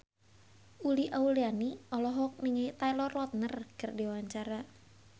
Uli Auliani olohok ningali Taylor Lautner keur diwawancara